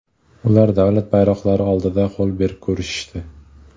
Ular davlat bayroqlari oldida qo‘l berib ko‘rishdi.